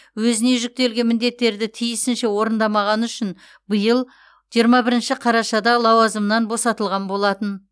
өзіне жүктелген міндеттерді тиісінше орындамағаны үшін биыл жиырма бірінші қарашада лауазымынан босатылған болатын